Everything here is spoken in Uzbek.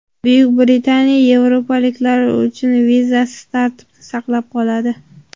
Buyuk Britaniya yevropaliklar uchun vizasiz tartibni saqlab qoladi.